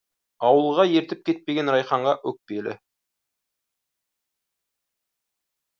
ауылға ертіп кетпеген райханға өкпелі